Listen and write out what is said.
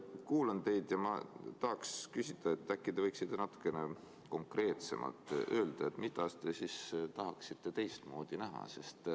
Ma kuulan teid ja ma tahaks küsida, et äkki te võiksite natukene konkreetsemalt öelda, mida te siis tahaksite teistmoodi näha.